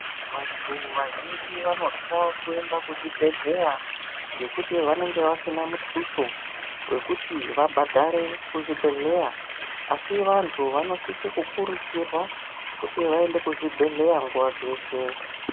Vanthu vazhinji vanotya kuenda kuzvibhedhleya ngekuti vanenge vasina muthuso wekuti vabhadhare kuzvibhedhleya asi vanthu vanosisa kukurudzirwa kuti vaenda kuzvibhedhleya nguva dzeshe.